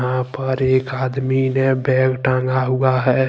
यहां पर एक आदमी ने बैग टांगा हुआ है।